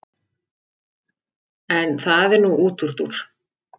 En það er nú útúrdúr.